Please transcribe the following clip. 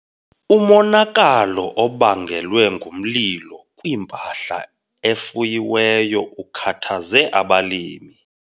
Umonakalo obangelwe ngumlilo kwimpahla efuyiweyo ukhathaze abalimi.